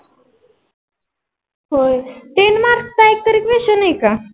होय ten mark एक तरी question है का?